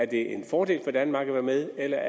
det er en fordel for danmark at være med eller